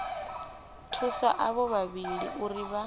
thusa avho vhavhili uri vha